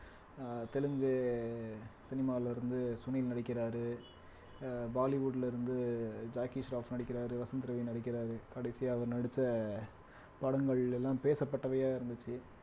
அஹ் தெலுங்கு சினிமால இருந்து சுனில் நடிக்கிறாரு அஹ் bollywood ல இருந்து ஜாக்கி சார்ப் நடிக்கிறாரு வசந்த் ரவி நடிக்கிறாரு கடைசியா அவர் நடிச்ச படங்கள் எல்லாம் பேசப்பட்டவையா இருந்துச்சு